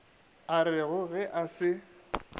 a rego ge a se